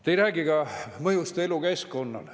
Te ei räägi ka mõjust elukeskkonnale.